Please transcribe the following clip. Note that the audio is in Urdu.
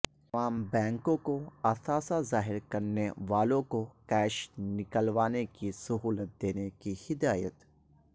تمام بینکوں کواثاثے ظاہر کرنے والوں کو کیش نکلوانے کی سہولت دینے کی ہدایت